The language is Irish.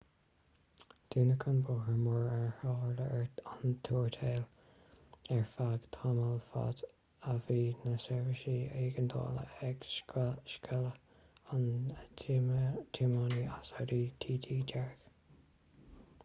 dúnadh an bóthar mar ar tharla an tuairteáil ar feadh tamaill fad a bhí na seirbhísí éigeandála ag scaoileadh an tiománaí as audi tt dearg